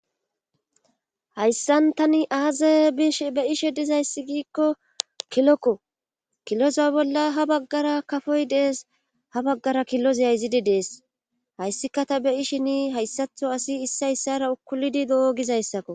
hayssan tani aaza bish be ishe dizayssi giikko kilokko kiloza bolla ha baggara kafoy dees ha baggara killoz yayzidi dees hayssika ta be ishini hayssatho asi issayssara ukulidi do7ogizayssakko